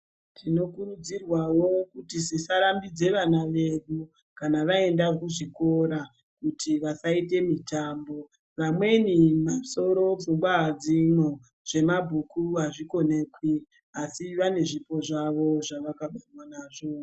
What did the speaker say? Tinokurudzirwawo kuti tisarambidze vana vedu kana vaenda kuzvikora kuti vasaita mitambo. Vamweni masoro pfungwa hadzimo zvemabhuku hazvikonekwi, asi vane zvipo zvavo zvavakabarwa nazvo.